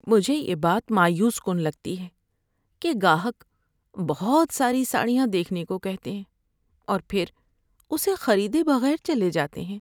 مجھے یہ بات مایوس کن لگتی ہے کہ گاہک بہت ساری ساڑیاں دیکھنے کو کہتے ہیں اور پھر اسے خریدے بغیر چلے جاتے ہیں۔